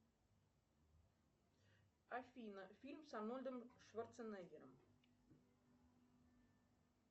афина фильм с арнольдом шварценеггером